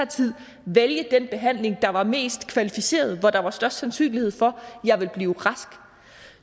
tid vælge den behandling der var mest kvalificeret og hvor der var størst sandsynlighed for at jeg ville blive rask